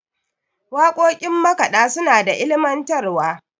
waƙoƙin makaɗa suna da ilimantarwa